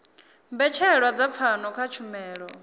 mbetshelwa dza pfano kha tshumelo